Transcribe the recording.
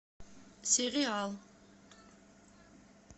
сериал